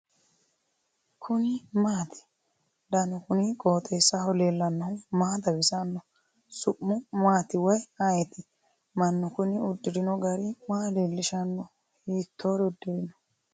kuni maati ? danu kuni qooxeessaho leellannohu maa xawisanno su'mu maati woy ayeti ? mannu kuni udirino gari maa leeelishshanno hiittore uddirino ?